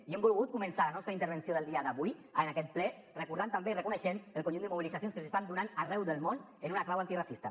i hem volgut començar la nostra intervenció del dia d’avui en aquest ple recordant també i reconeixent el conjunt de mobilitzacions que s’estan donant arreu del món en una clau antiracista